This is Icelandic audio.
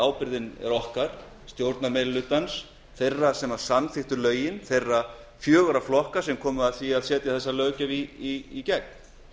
ábyrgðin er okkar stjórnarmeirihlutans þeirra sem samþykktu lögin þeirra fjögurra flokka sem komu þessari löggjöf í gegn